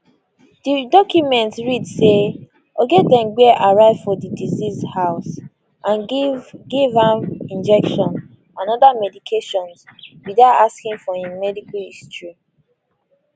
di document read say ogedengbe arrive for di deceased house and give give am injection and oda medications without asking for im medical history